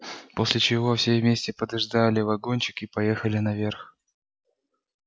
после чего все вместе подождали вагончик и поехали наверх